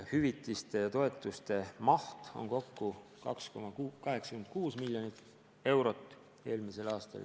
Hüvitiste ja toetuste maht oli eelmisel aastal kokku 2,86 miljonit eurot.